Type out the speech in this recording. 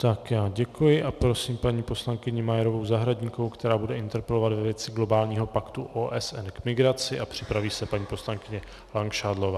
Tak já děkuji a prosím paní poslankyni Majerovou Zahradníkovou, která bude interpelovat ve věci globálního paktu OSN k migraci, a připraví se paní poslankyně Langšádlová.